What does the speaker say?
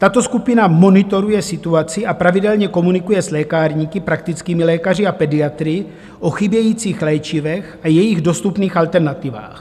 Tato skupina monitoruje situaci a pravidelně komunikuje s lékárníky, praktickými lékaři a pediatry o chybějících léčivech a jejich dostupných alternativách.